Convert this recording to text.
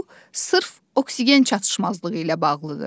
Bu sırf oksigen çatışmazlığı ilə bağlıdır.